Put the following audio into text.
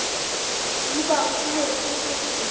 di bakuwe ke ho se